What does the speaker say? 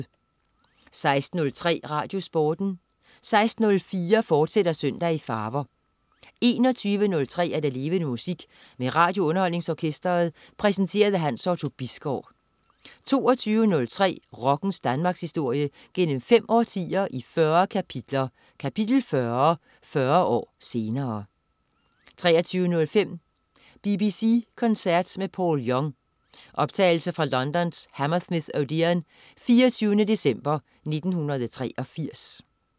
16.03 RadioSporten 16.04 Søndag i farver, fortsat 21.03 Levende Musik. Med RadioUnderholdningsOrkestret. Præsenteret af Hans Otto Bisgaard 22.03 Rockens Danmarkshistorie gennem 5 årtier, i 40 kapitler. Kapitel 40: 40 år senere 23.05 BBC koncert med Paul Young. Optagelse fra Londons Hammersmith Odeon, 24. december 1983